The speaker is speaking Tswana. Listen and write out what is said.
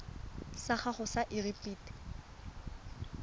sa gago sa irp it